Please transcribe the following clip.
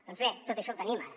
doncs bé tot això ho tenim ara